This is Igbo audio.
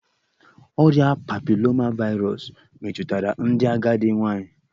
Ọrịa papiloma vaịrus metụtara ndị agadi nwanyị